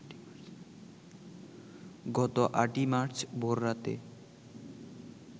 গত ৮ মার্চ ভোররাতে